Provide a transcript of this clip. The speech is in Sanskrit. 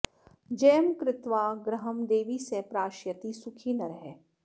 जयं कृत्वा गृहं देवि स प्राश्यति सुखी नरः